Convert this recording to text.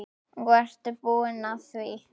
Og ertu búin að því?